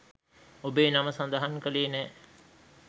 ඔබේ නම සඳහන් කළේ නෑ.